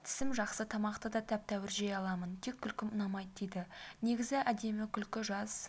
тісім жақсы тамақты да тәп-тәуір жей аламын тек күлкім ұнаймайды дейді негізі әдемі күлкі жас